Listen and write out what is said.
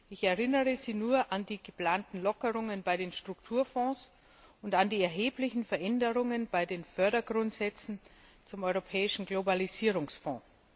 Ich erinnere Sie nur an die geplanten Lockerungen bei den Strukturfonds und an die erheblichen Veränderungen bei den Fördergrundsätzen zum Europäischen Globalisierungsfonds.